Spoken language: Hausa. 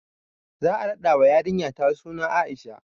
Za a raɗa wa yarinyata suna Aisha